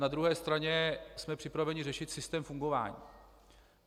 Na druhé straně jsme připraveni řešit systém fungování.